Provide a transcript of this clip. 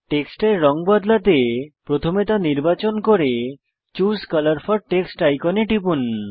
টেক্সটের রঙ বদলাতে প্রথমে তা নির্বাচন করে চুসে কালার ফোর টেক্সট আইকনে টিপুন